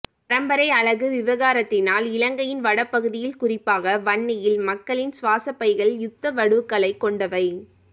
பரம்பரை அலகு விகாரத்தினால் இலங்கையின் வடபகுதியில் குறிப்பாக வன்னியில் மக்களின் சுவாசப்பைகள் யுத்த வடுக்களைக் கொண்டவை